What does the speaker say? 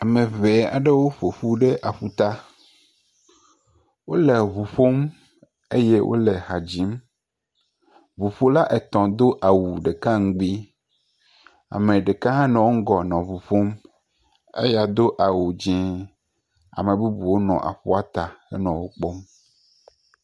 Ame ŋee aɖewo ƒo ƒu ɖe aƒuta. Wole ŋu ƒom eye wole ha dzim. Ŋuƒola wo ame etɔ̃ do awu ɖeka ŋugbi. Ame ɖeka hã nɔ eŋgɔ nɔ ŋu ƒom. Eya do awu dzɛ̃. Ame bubuwo nɔ aƒua ta henɔ wo kpɔm.